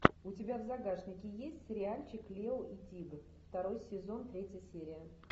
у тебя в загашнике есть сериальчик лео и тигр второй сезон третья серия